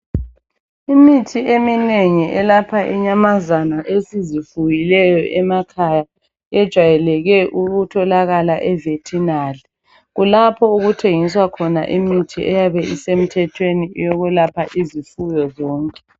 Imithi eminengi elapha inyamazana esizifuyileyo emakhaya ejwayeleke ukutholakala e"Veterinary" kulapho okuthengiswa khona imithi eyabe isemthethweni eyokwelapha izifuyo zonke.